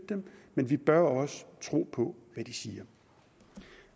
men vi bør også tro på hvad de siger